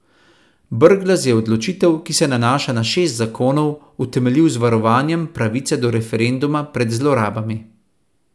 Brglez je odločitev, ki se nanaša na šest zakonov, utemeljil z varovanjem pravice do referenduma pred zlorabami.